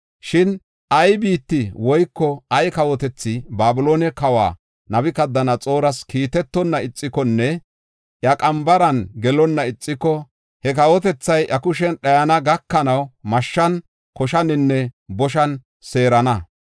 “Shin ay biitti woyko ay kawotethi Babiloone kawa Nabukadanaxooras kiitetonna ixikonne iya qambaran gelonna ixiko, he kawotethay iya kushen dhayana gakanaw mashshan, koshaninne boshan seerana.